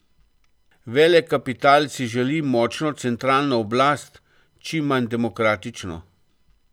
Velekapital si želi močno centralno oblast, čim manj demokratično.